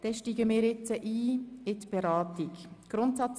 Wir steigen jetzt in die Detailberatung ein.